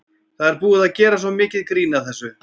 Það er búið að gera svo mikið grín að þessu.